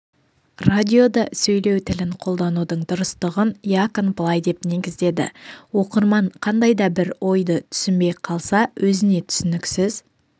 радиода сөйлеу тілін қолданудың дұрыстығын якон былай деп негіздеді оқырман қандай да бір ойды түсінбей қалса өзіне түсініксіз